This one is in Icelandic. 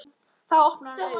Þá opnar hann augun.